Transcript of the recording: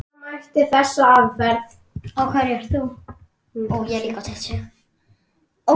Við afi vorum góðir vinir.